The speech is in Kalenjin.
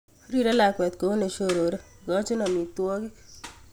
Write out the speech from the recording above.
Rire lakwet kou nesiorore, ikochin omitwokik.